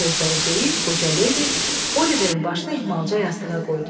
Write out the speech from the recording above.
Bu sözləri deyib, qoca ledi Oliverin başını ehmalca yastığa qoydu.